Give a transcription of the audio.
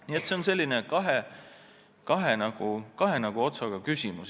Nii et see on selline nagu kahe otsaga asi.